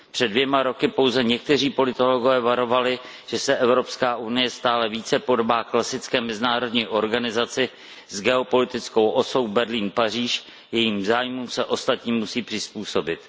Před dvěma lety pouze někteří politologové varovali, že se Evropská unie stále více podobá klasické mezinárodní organizaci s geopolitickou osou Berlín Paříž, jejímž zájmům se ostatní musí přizpůsobit.